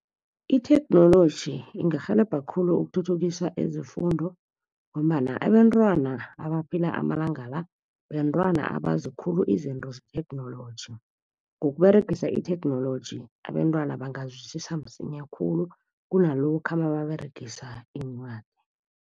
Itheknoloji ingarhelebha khulu ukuthuthukisa zefundiso ngombana abentwana abaphila amalanga la, bentwana abazikhulu izinto zetheknoloji. NgokUberegisa itheknoloji abentwana bangazwisisa msinya khulu, kunalokha nababeregisa iincwadi.